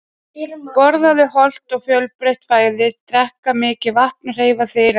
Borða hollt og fjölbreytt fæði, drekka mikið vatn og hreyfa þig reglulega.